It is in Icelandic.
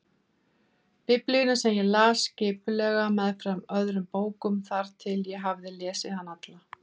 Biblíuna sem ég las skipulega meðfram öðrum bókum þar til ég hafði lesið hana alla.